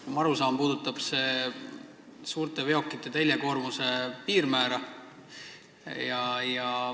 Nagu ma aru saan, puudutab see muudatus suurte veokite teljekoormuse piirmäära.